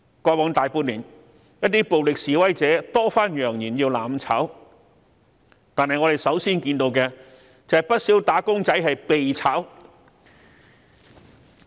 過去大半年，一些暴力示威者多番揚言要"攬炒"，但我們首先看到的，便是不少"打工仔"被解僱。